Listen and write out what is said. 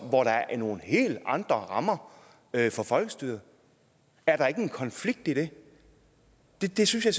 hvor der er nogle helt andre rammer for folkestyret er der ikke en konflikt i det det det synes jeg